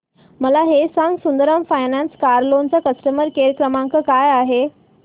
मला हे सांग सुंदरम फायनान्स कार लोन चा कस्टमर केअर क्रमांक काय आहे